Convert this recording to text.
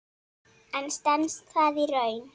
En stenst það í raun?